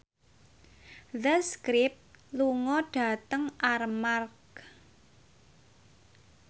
The Script lunga dhateng Armargh